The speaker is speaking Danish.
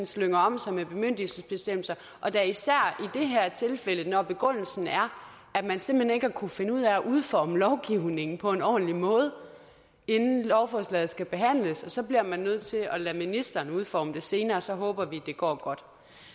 slynger om sig med bemyndigelsesbestemmelser og da især i det her tilfælde når begrundelsen er at man simpelt hen ikke har kunnet finde ud af at udforme lovgivningen på en ordentligt måde inden lovforslaget skal behandles og så bliver man nødt til at lade ministeren udforme det senere og så håber vi det går godt